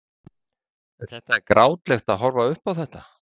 Magnús Hlynur: En þetta er grátlegt að horfa upp á þetta?